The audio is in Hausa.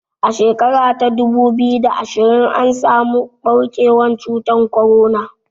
A shekara ta dubu biyu da ashirin an samu ɓarkewar cutar korona